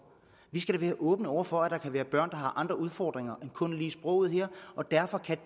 vi skal da være åbne over for at der kan være børn der har andre udfordringer end kun lige sproget og derfor kan